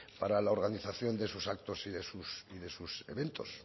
para la organización de esos actos y de sus eventos